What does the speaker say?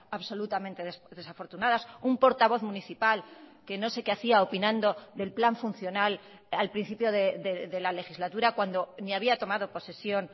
absolutamente desafortunadas un portavoz municipal que no sé qué hacía opinando del plan funcional al principio de la legislatura cuando ni había tomado posesión